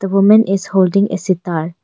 The women is holding a sitar.